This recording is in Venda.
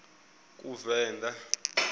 kuvenḓa